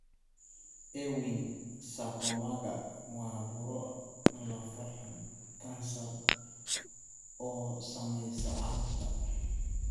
Ewing sarcomaga waa buro lafo xun (kansar) oo saamaysa carruurta.